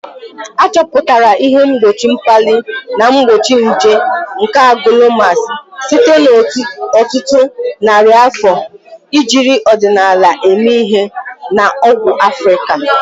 Achọpụtara ihe mgbochi mkpali na mgbochi nje nke Agwalumas site n'ọtụtụ narị afọ ejiri ọdịnala eme ihe na ọgwụ Africa.